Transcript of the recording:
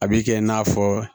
A b'i kɛ i n'a fɔ